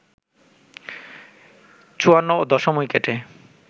৫৪ ও দশম উইকেটে